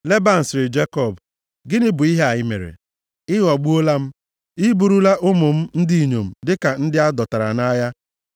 Leban sịrị Jekọb, “Gịnị bụ ihe a i mere? Ị ghọgbuola m. I burula ụmụ m ndị inyom dịka ndị a dọtara nʼagha?